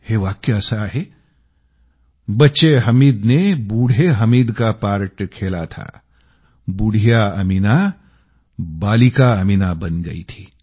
हे वाक्य असं आहे बच्चे हामिदने बूढे़ हामिद का पार्ट खेला था बुढ़िया अमीना बालिका अमीना बन गई थी